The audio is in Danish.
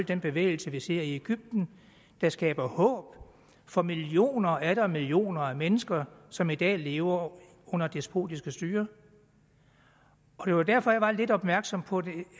den bevægelse vi ser i egypten der skaber håb for millioner og atter millioner af mennesker som i dag lever under despotiske styrer og det var derfor at jeg var lidt opmærksom på det